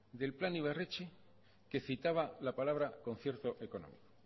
del plan ibarretxe que citaba la palabra concierto económico